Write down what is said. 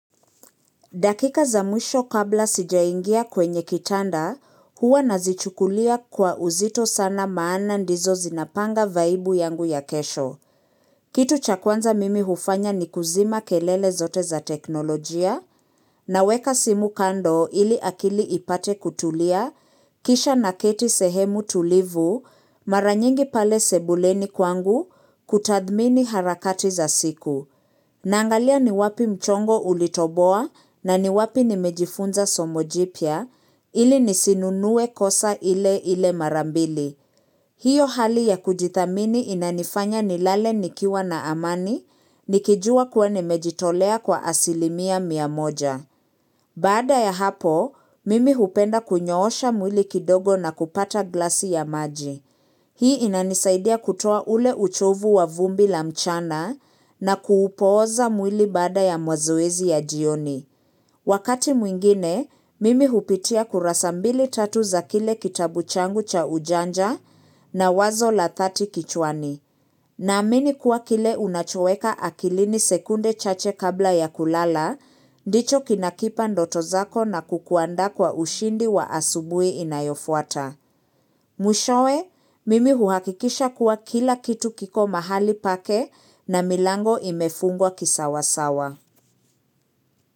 Dakika za mwisho kabla sijaingia kwenye kitanda, huwa nazichukulia kwa uzito sana maana ndizo zinapanga vaibu yangu ya kesho. Kitu cha kwanza mimi hufanya ni kuzima kelele zote za teknolojia, na weka simu kando ili akili ipate kutulia, kisha naketi sehemu tulivu, maranyingi pale sebuleni kwangu, kutadhmini harakati za siku. Na angalia ni wapi mchongo ulitoboa na ni wapi nimejifunza somojipya ili nisinunuwe kosa ile ile marambili. Hiyo hali ya kujithamini inanifanya nilale nikiwa na amani nikijua kuwa nimejitolea kwa asilimia miamoja. Bada ya hapo, mimi hupenda kunyoosha mwili kidogo na kupata glasi ya maji. Hii inanisaidia kutua ule uchovu wa vumbi la mchana na kuupoza mwili bada ya mwazoezi ya jioni. Wakati mwingine, mimi hupitia kurasa mbili tatu za kile kitabu changu cha ujanja na wazo la 30 kichwani. Na amini kuwa kile unachoweka akilini sekunde chache kabla ya kulala, dicho kinakipa ndoto zako na kukuanda kwa ushindi wa asubui inayofuata. Mwishowe, mimi huhakikisha kuwa kila kitu kiko mahali pake na milango imefungwa kisawasawa.